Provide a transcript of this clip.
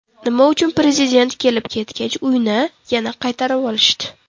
Nima uchun Prezident kelib-ketgach, uyni yana qaytarib olishdi?